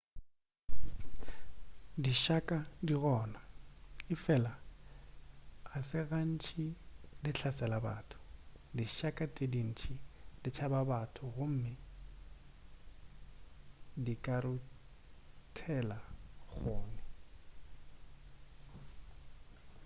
dišaka di gona efela ga se gantši di hlasela batho dišaka tše dintši di tšaba batho gomme di ka ruthela kgone